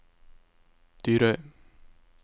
Dyrøy